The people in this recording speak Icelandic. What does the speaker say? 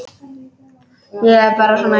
Ég er bara svona einsog.